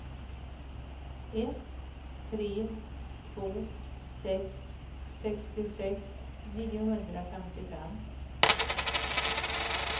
ett tre två sex sextiosex niohundrafemtiofem